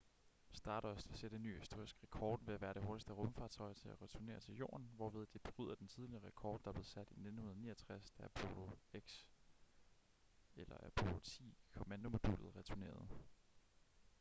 stardust vil sætte en ny historisk rekord ved at være det hurtigste rumfartøj til at returnere til jorden hvorved det bryder den tidligere rekord der blev sat i 1969 da apollo x kommandomodulet returnerede